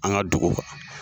An ka duguka.